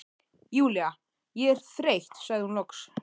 Júlía, ég er þreytt sagði hún loks.